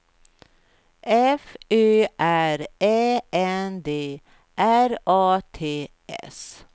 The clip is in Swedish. F Ö R Ä N D R A T S